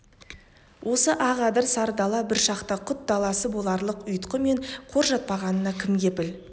осы ақ адыр сары дала бір шақта құт даласы боларлық ұйтқы мен қор жатпағанына кім кепіл